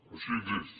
així és